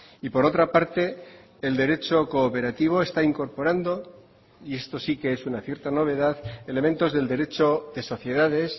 y por otra parte el derecho cooperativo está incorporando y esto sí que es una cierta novedad elementos del derecho de sociedades